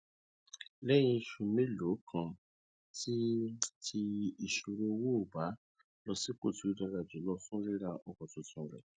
lẹyìn oṣù mélòó kan ti ti ìṣòro owó ó bá a lọ sípò tó dára jùlọ fún rira ọkọ tuntun rẹ